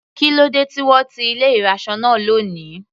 Kílódé tí wọ́n ti ilé ìraṣọ náà lóni.